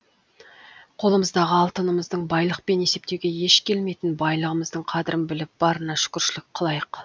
қолымыздағы алтынымыздың байлықпен есептеуге еш келмейтін байлығымыздың қадірін біліп барына шүкіршілік қылайық